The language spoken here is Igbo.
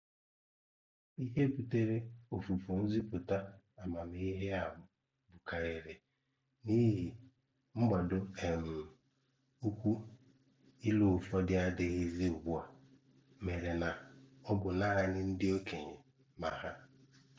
Ihe butere ọfùfù nzìpụ̀tà àmàmíhè a bụ̀kàrírị na ihe mgbadò um ụ́kwụ́ ìlù ùfọ̀dù adị̀ghịzị̀ ugbua, mèré na ọ bụ̀ nāánị̀ ndị okenye mà hà.